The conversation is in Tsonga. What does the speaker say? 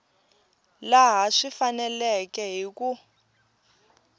laha swi faneleke hi ku